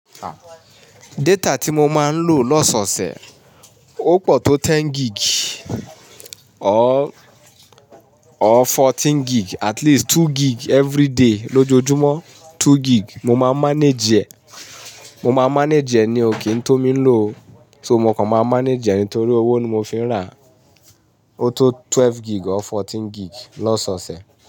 Data tí mo máa ń lò lọ́sọ̀sẹ̀, ó pọ̀ tó ten gig or, or fourteen gig at least two gig everyday lójoojúmọ́ two gig mo máa manage ẹ. Mo máa manage ẹ nío kìí tó mi ń lò, sọ mo kàn máa manage ẹ nítorí owó ni mo fi ń rà á. Ó tó twelve gig or fourteen gig lọ́sọ̀sẹ̀.